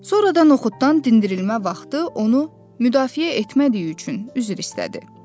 Sonradan noxuddan dindirilmə vaxtı onu müdafiə etmədiyi üçün üzr istədi.